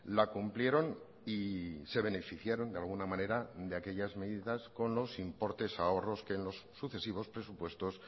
la cumplieron y se beneficiaron de alguna manera de aquellas medidas con los importes ahorros que en los sucesivos presupuestos